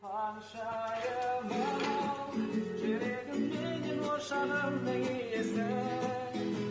ханшайымым ау жүрегім менен ошағымның иесі